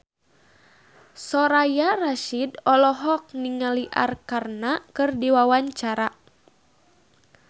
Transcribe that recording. Soraya Rasyid olohok ningali Arkarna keur diwawancara